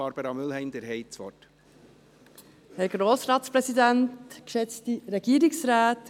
Barbara Mühlheim, Sie haben das Wort.